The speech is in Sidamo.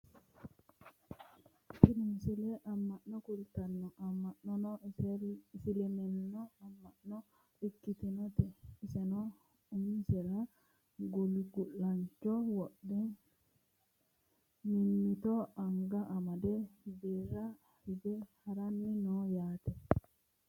tini misile amma'no kultanno amma'nono isileliminnu amma'no ikkitinote insano umoinsara gulgu'laancho wodhe mimmito anga made albira hige haranni no yaate